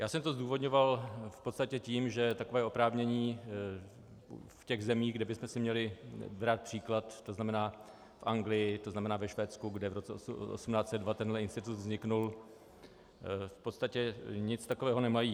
Já jsem to zdůvodňoval v podstatě tím, že takové oprávnění v těch zemích, kde bychom si měli brát příklad, to znamená v Anglii, to znamená ve Švédsku, kde v roce 1802 tento institut vznikl, v podstatě nic takového nemají.